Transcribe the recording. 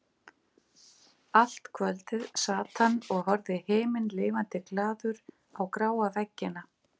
Allt kvöldið sat hann og horfði himinlifandi glaður á gráa veggina.